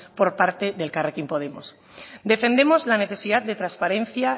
por parte de elkarrekin podemos defendemos la necesidad de transparencia